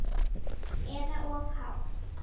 Eða of hátt.